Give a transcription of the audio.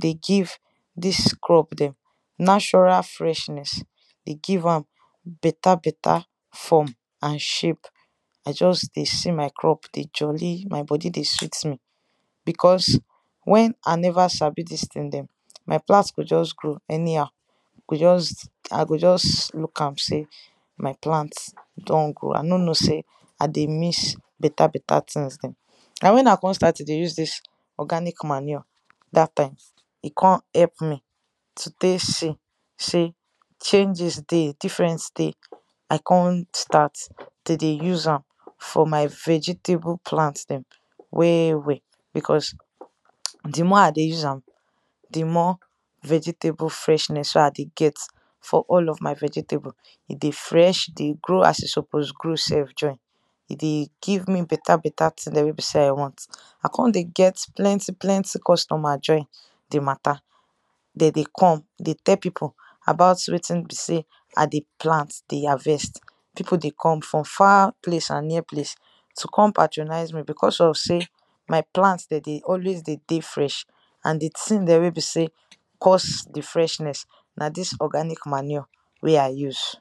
dey give dis crop dem nashural freshness dey give am beta beta form and shape i just dey see my crop dey jolli my bodi dey sweet me because wen i neva sabi dis thing dem, my plant go just grow anyhow i go just i go just look am sey my plant don grow i no know sey i dey miss beta beta things dem. na wen i kon start to dey use dis organic manure dat time, e kon help me to tek see sey changes dey difference dey i kon start tek dey use am for my vegetable plant dem well well becaue di more i dey use am, di more vegetable freshness wey i dey get for all of my vegetable e dey fresh, e dey grow as e supose grow sef join e dey give me beta beta thing wey be sey i want. i kon dey get plenty plenty customer join di matta de dey come dey tell pipu about wetin be sey i dey plant de harvest. pipu dey come from far place and near place to come patronise me because of sey my plants dem de dey always dey dey fresh. and di thing dem we be sey cause di freshness, na dis organic manure wey i use.